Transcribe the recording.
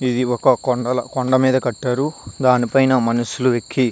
ఇది ఒక కొండ మేధా కటారు దాని పైన మనుషుల్లు ఎకి --